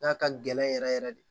N'a ka gɛlɛn yɛrɛ yɛrɛ de